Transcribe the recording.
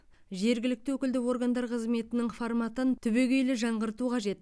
жергілікті өкілді органдар қызметінің форматын түбегейлі жаңғырту қажет